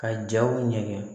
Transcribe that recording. Ka jaw nɛgɛngɛn